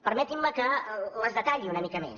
permetin me que les detalli una mica més